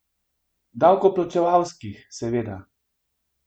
Davkoplačevalskih, seveda.